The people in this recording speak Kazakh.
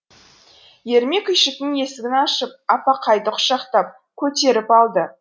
ермек үйшіктің есігін ашып аппақайды құшақтап көтеріп алды